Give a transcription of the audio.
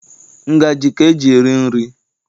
Ngaji ka e ji eri nri.